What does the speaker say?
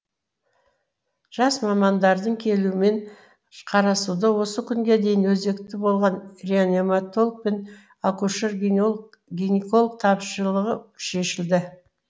жас мамандардың келуімен қарасуда осы күнге дейін өзекті болған реаниматолог пен акушер гинеколог тапшылығы шешілді